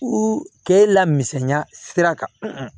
ke lamɛnya sira kan